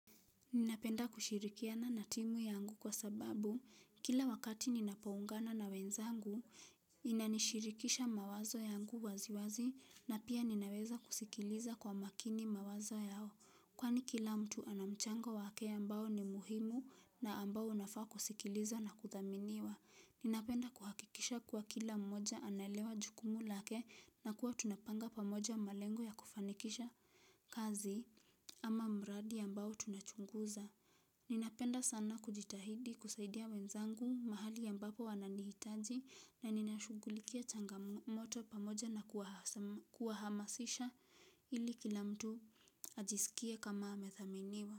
Ninapenda kushirikiana na timu yangu kwa sababu, kila wakati ninapoungana na wenzangu, inanishirikisha mawazo yangu waziwazi na pia ninaweza kusikiliza kwa makini mawazo yao. Kwani kila mtu anamchango wake ambao ni muhimu na ambao unafaa kusikiliza na kuthaminiwa. Ninapenda kuhakikisha kuwa kila mmoja anaelewa jukumu lake na kuwa tunapanga pamoja malengo ya kufanikisha kazi ama mradi ambao tunachunguza. Ninapenda sana kujitahidi kusaidia wenzangu mahali ambapo wananihitaji na ninashughulikia changamoto pamoja na kuahamasisha ili kila mtu ajiskie kama amethaminiwa.